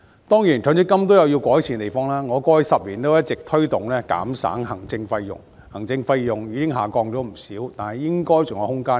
當然，強積金有其需要改善的地方，我過去10年一直推動減省行政費用，而這類費用已下降不少，但應該還有下調的空間。